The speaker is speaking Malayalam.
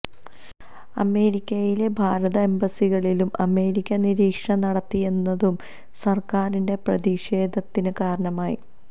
അമേരിക്കയിലെ ഭാരത എംബസികളിലും അമേരിക്ക നിരീക്ഷണം നടത്തിയെന്നതും സര്ക്കാരിന്റെ പ്രതിഷേധത്തിന് കാരണമായി